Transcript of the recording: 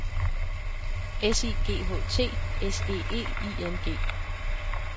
S I G H T S E E I N G